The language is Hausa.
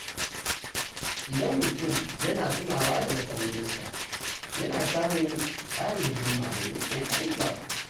Idan mutum yana yawan tunawa da nasarorinsa, yana samun ƙarin himma domin ƙoƙarin gaba.